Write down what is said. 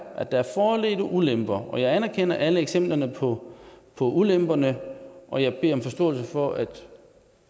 at der er fordele og ulemper og jeg anerkender alle eksemplerne på ulemperne og jeg beder om forståelse for at